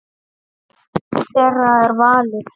Þeirra er valið.